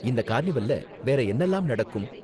இந்த கார்னிவல்ல வேற என்னலாம் நடக்கும்?